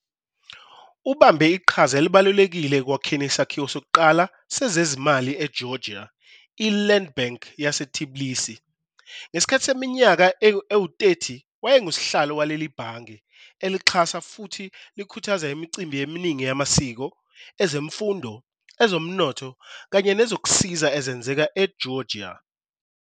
Ubambe iqhaza elibalulekile ekwakheni isakhiwo sokuqala sezezimali eGeorgia - iLand Bank yaseTbilisi. Ngesikhathi seminyaka engama-30 wayengusihlalo waleli Bhange, elalixhasa futhi likhuthaza imicimbi eminingi yamasiko, ezemfundo, ezomnotho kanye nezokusiza ezenzeka e-Georgia.